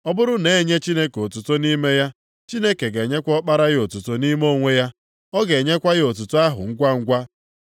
Ọ bụrụ na e nye Chineke otuto nʼime ya, Chineke ga-enyekwa Ọkpara ya otuto nʼime onwe ya, ọ ga-enyekwa ya otuto ahụ ngwangwa.